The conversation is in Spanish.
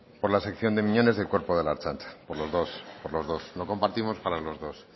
por la sección de miñones del cuerpo de la ertzaintza por los dos lo compartimos para los dos